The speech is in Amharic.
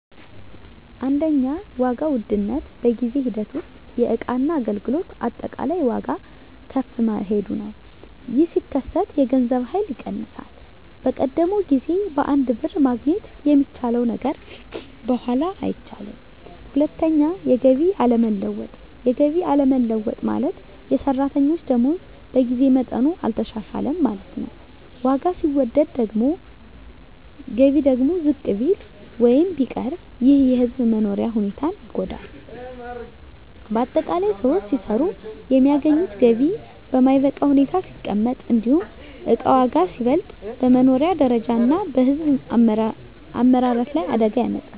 1. ዋጋ ውድነት በጊዜ ሂደት ውስጥ የእቃና አገልግሎት አጠቃላይ ዋጋ ከፍ መሄዱ ነው። ይህ ሲከሰት የገንዘብ ኃይል ይቀንሳል፤ በቀደመው ጊዜ በአንድ ብር ማግኘት የሚቻለው ነገር በኋላ አይቻልም። 2. የገቢ አለመለወጥ የገቢ አለመለወጥ ማለት፣ የሰራተኞች ደመወዝ በጊዜ መጠኑ አልተሻሻለም ማለት ነው። ዋጋ ሲወደድ ገቢ ደግሞ ዝቅ ቢል ወይም ቢቀር ይህ የሕዝብ መኖሪያ ሁኔታን ይጎዳል። ✅ በአጠቃላይ: ሰዎች ሲሰሩ የሚያገኙት ገቢ በማይበቃ ሁኔታ ሲቀመጥ፣ እንዲሁም እቃ ዋጋ ሲበልጥ፣ በመኖሪያ ደረጃ እና በሕዝብ አመራረት ላይ አደጋ ያመጣል።